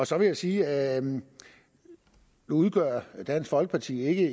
så vil jeg sige at nu udgør dansk folkeparti ikke